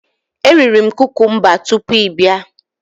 Eriri m kukumba tupu ị bịa.